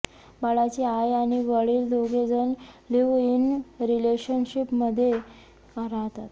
बाळाची आई आणि वडील दोघेजण लिव्ह इन रिलेशनशिपमध्ये राहतात